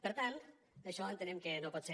per tant això entenem que no pot ser